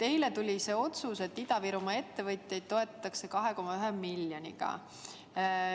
Eile tuli otsus, et Ida-Virumaa ettevõtjaid toetatakse 2,1 miljoniga.